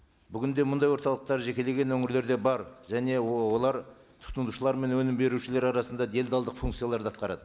бүгінде мұндай орталықтар жекелеген өңірлерде бар және олар тұтынушылар мен өнім берушілер арасында делдалдық функцияларды атқарады